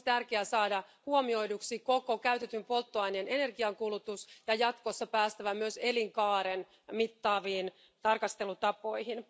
Olisi tärkeää saada huomioiduksi koko käytetyn polttoaineen energiankulutus, ja jatkossa olisi päästävä myös elinkaaren mittaaviin tarkastelutapoihin.